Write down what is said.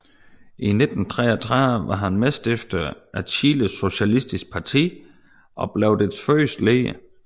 I 1933 var han medstifter af Chiles Socialistiske Parti og blev dets første leder